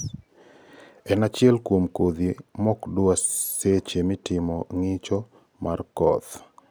En achiel kuom kodhi mokdwa seche mitimo ngicho mar kodh oganda kod ofis ma KEPHIS